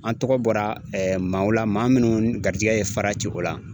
An tɔgɔ bɔra maaw la maa munnu garijɛgɛ ye fara ci o la.